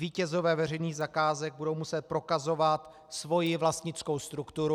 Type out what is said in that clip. Vítězové veřejných zakázek budou muset prokazovat svoji vlastnickou strukturu.